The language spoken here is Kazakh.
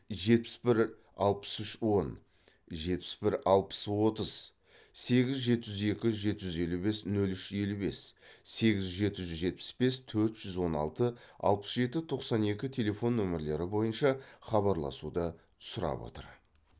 жетпіс бір алпыс үш он жетпіс бір алпыс отыз сегіз жеті жүз екі жеті жүз елу бес нөл үш елу бес сегіз жеті жүз жетпіс бес төрт жүз он алты алпыс жеті тоқсан екі телефон нөмірлері бойынша хабарласуды сұрап отыр